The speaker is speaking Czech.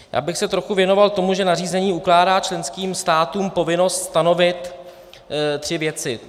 Já bych se trochu věnoval tomu, že nařízení ukládá členským státům povinnost stanovit tři věci: